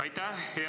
Aitäh!